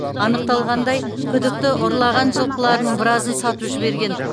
анықталғандай күдікті ұрлаған жылқыларының біразын сатып жіберген